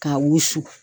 K'a wusu